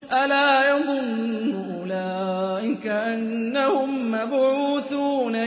أَلَا يَظُنُّ أُولَٰئِكَ أَنَّهُم مَّبْعُوثُونَ